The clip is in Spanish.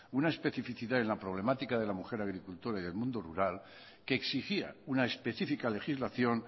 una especificidad en la problemática de la mujer agricultora y del mundo rural que exigía una específica legislación